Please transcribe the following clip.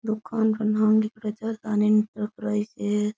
दुकान का नाम लिख्योड़ो है जसदान इंटरप्राइजेज (।